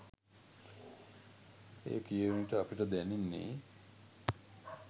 එය කියවන විට අපට දැනෙන්නේ